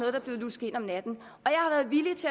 er blevet lusket ind om natten